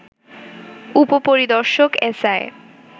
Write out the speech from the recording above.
উপ-পরিদর্শক SI